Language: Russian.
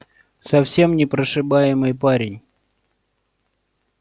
совсем непрошибаемый парень